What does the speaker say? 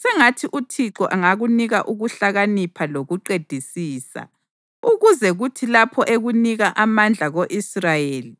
Sengathi uThixo angakunika ukuhlakanipha lokuqedisisa, ukuze kuthi lapho ekunika amandla ko-Israyeli,